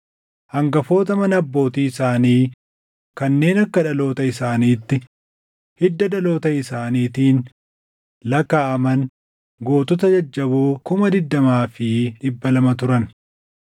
Hangafoota mana abbootii isaanii kanneen akka dhaloota isaaniitti hidda dhaloota isaaniitiin lakkaaʼaman gootota jajjaboo 20,200 turan.